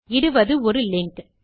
இடுவது ஒரு லிங்க்